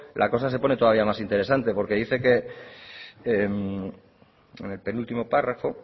la cosa se pone todavía más interesante porque dice que en el penúltimo párrafo